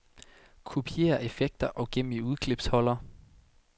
Kopiér effekter og gem i udklipsholder.